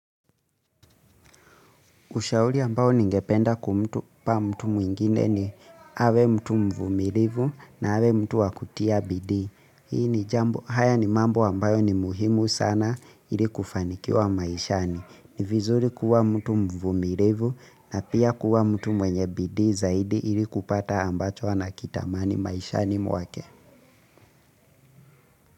Ushauri ambao ningependa kumpa mtu mwingine ni awe mtu mvumilivu na awe mtu wa kutia bidii. Hii ni jambo haya ni mambo ambayo ni muhimu sana ili kufanikiwa maishani. Ni vizuri kuwa mtu mvumilivu na pia kuwa mtu mwenye bidii zaidi ili kupata ambacho anakitamani maishani mwake.